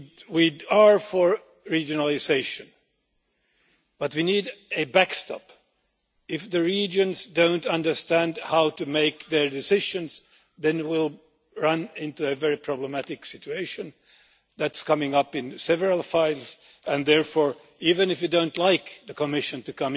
We are for regionalisation, but we need a backstop. If the regions do not understand how to make their decisions, then we will run into a very problematic situation. This is coming up in several files and therefore, even if you do not like the Commission